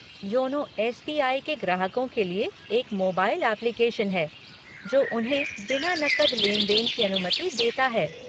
YONO S B I के ग्राहकों के लिए एक मोबाइल एप्लीकेशन है जो उन्हें बिना नकद लेन देन की अनुमति देता है।